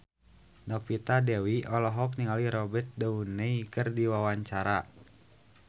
Novita Dewi olohok ningali Robert Downey keur diwawancara